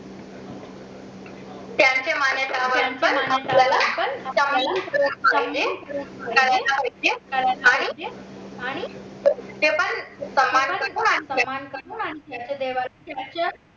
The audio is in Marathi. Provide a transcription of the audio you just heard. त्यांच्या मान्यतांद्वारे